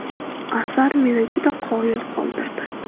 Asar meni juda qoyil qoldirdi.